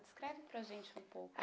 Descreve para gente um pouco.